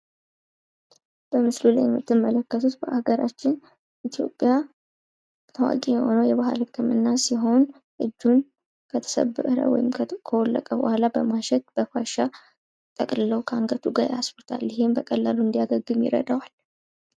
በምስሉ ላይ የምትመለከቱት በሀገራችን ኢትዮጵያ ታዋቂ የሆነው የባህል ህክምና ሲሆን እጁን ከተሰበረ ወይም ከወለቀ በኋላ በማሸት በፋሻ ጠቅልለው ከአንገቱ ጋር ያስሩታል ይህም በቀላሉ እንዲያገግም ይረዳዋል ።